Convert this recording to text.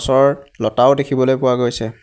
ওচৰত লতাও দেখিবলৈ পোৱা গৈছে।